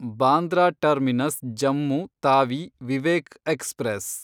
Bandra terminus Jammu Tawi Vivek express